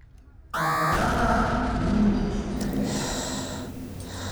A hrana ni nič cenejša.